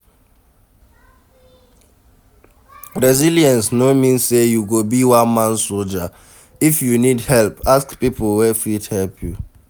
Resillience no mean sey you go be one man soldier, if you need help ask pipo wey fit help you